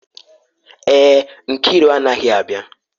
Èè, Nkiru anaghị abịa